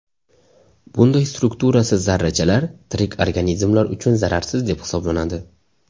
Bunday strukturasiz zarrachalar tirik organizmlar uchun zararsiz deb hisoblanadi.